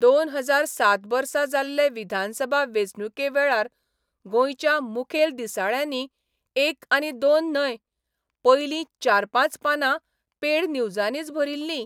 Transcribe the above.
दोन हजार सात वर्सा जाल्ले विधानसभा वेंचणुके वेळार गोंयच्या मुखेल दिसाळ्यांनी एक आनी दोन न्हय, पयलीं चार पांच पानां पेड न्यूजांनीच भरिल्लीं.